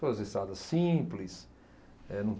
Todas as estradas simples, eh